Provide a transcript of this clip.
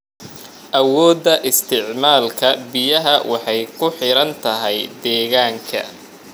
Awoodda isticmaalka biyaha waxay ku xiran tahay deegaanka.